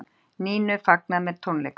Nínu fagnað með tónleikum